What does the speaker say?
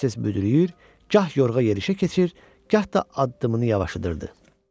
Tez-tez büdrüyür, gah yorğa yeriyə keçir, gah da addımını yavaşladırdı.